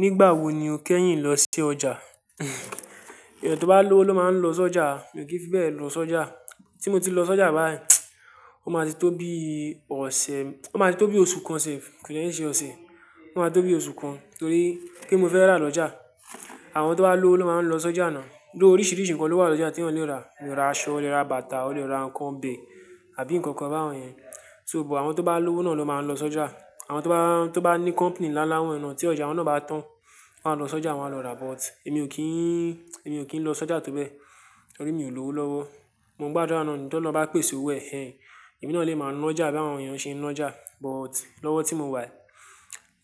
Nígbà wo ni o kẹ́yìn lọ sí ọjà? Èèyàn tó bá lówó ló máa ń lọ sọ́jà, èmi ò kí n fi bẹ́ẹ̀ lọ sọ́jà. Tí mo ti lọ sọ́jà báyìí, ó máa ti tó bí ọ̀sẹ̀, ó máa ti tó bí oṣù kan sefu, kò dè i ṣe ọ̀sẹ̀, ó máa ti tó bí oṣù kan torí kín ni mo fẹ́ rà lọ́jà. Àwọn tó bá lówó ló máa ń lọ sọ́jà náà. Bí oríṣiríṣi nǹkan ló wà lọ́jà tí ènìyàn lè rà. Èèyàn lè ra aṣọ, o lè ra bàtà, o lè ra nǹkan ọbẹ̀ àbí nǹkan kan báwọn yẹn. So but àwọn tó bá lówó náà ló máa ń lọ sọ́jà. Àwọn tó bá, tó bá ní company ńlá ńlá wọ́n yẹn náà tí ọjà wọ́n náà bá tán, wọ́n máa lọ sọ́jà, wọn máa lọ rà but èmi ò kí n, èmi ò kí ń lọ sọ́jà tó bẹ́ẹ̀ torí mi ò lówó lọ́wọ́. Mo ń gbàdúrà ni, tí ọlọ́hun bá pèsè owó ẹ̀ ehen, èmi náà lè máa ńa ọ́jà bí àwọn èèyàn ṣe ń na ọ́jà but lọ́wọ́ tí mo wà yí,